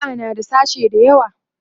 jami'a na da sashe da yawa